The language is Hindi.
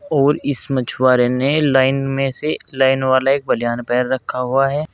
और इस मछुआरे ने लाइन में से लाइन वाला एक बनियान पहन रखा है।